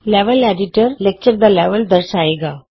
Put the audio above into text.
level editor lecture ਦਾ level ਦਰਸਾਏਗਾ